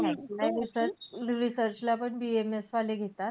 मी ऐकलय research-research ला पण BAMS वाले घेतात.